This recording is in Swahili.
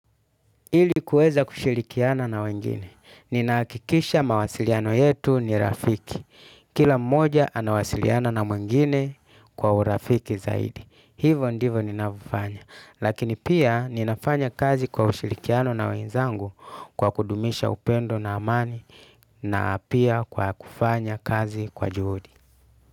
Ili kuweza kushilikiana na wengine. Ninahakikisha mawasiliano yetu ni rafiki. Kila mmoja anawasiliana na mwingine kwa urafiki zaidi. Hivyo ndivyo ninavyofanya. Lakini pia ninafanya kazi kwa ushilikiano na wenzangu kwa kudumisha upendo na amani na pia kwa kufanya kazi kwa juhudi.